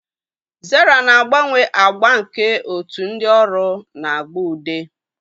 Zara na-agbanwe agba nke otu ndị ọrụ na agba ude.